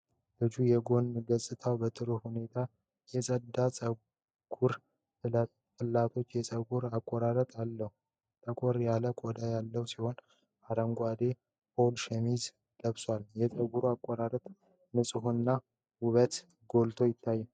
ልጅ የጎን ገጽታው በጥሩ ሁኔታ የጸዳ ጸጉርና ፍላትቶፕ የፀጉር አቆራረጥ አለው። ጠቆር ያለ ቆዳ ያለው ሲሆን አረንጓዴ የፖሎ ሸሚዝ ለብሷል። የጸጉሩ አቆራረጥ ንጽህና እና ውበት ጎልቶ ይታያል።